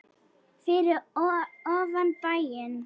Fyrir ofan bæinn.